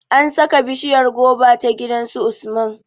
An sa ka bishiryar goba ta gidan su Usman